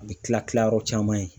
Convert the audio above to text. A bɛ kila kila yɔrɔ caman ye.